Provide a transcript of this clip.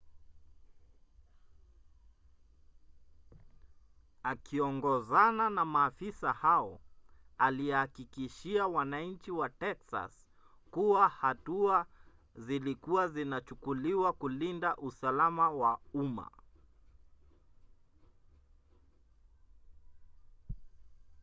akiongozana na maafisa hao alihakikishia wananchi wa texas kuwa hatua zilikua zinachukuliwa kulinda usalama wa umma